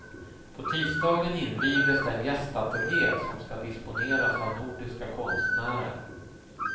På tisdagen invigdes den gästateljé som ska disponeras av nordiska konstnärer.